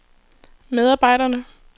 medarbejderne